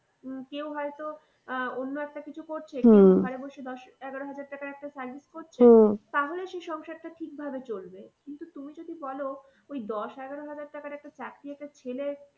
উম কেউ হয়তো আহ অন্য একটা কিছু করছে ঘরে বসে দশ এগারো হাজার টাকার একটা service তাহলে সেই সংসারটা ঠিক ভাবে চলবে। কিন্তু তুমি যদি বলো ওই দশ এগারো হাজার টাকার একটা চাকরি একটা ছেলে